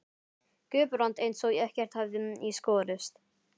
Guðbrand eins og ekkert hefði í skorist.